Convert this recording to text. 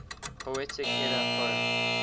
poetic edda poem